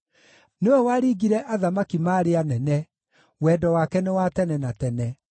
nĩwe waringire athamaki maarĩ anene, Wendo wake nĩ wa tene na tene.